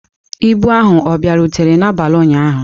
Ibu ahụ ọ bịarutere n'abalị ụnyahụ?